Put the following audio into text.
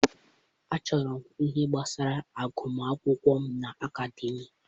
Achọrọ m ihe gbasara agụmakwụkwọ m na Akademịa.